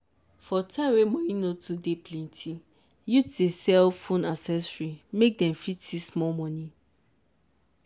for time wey money no too dey plenti youth dey sell phone accessory make dem fit see small money.